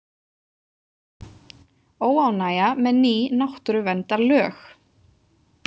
Óánægja með ný náttúruverndarlög